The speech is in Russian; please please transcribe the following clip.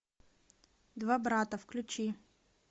два брата включи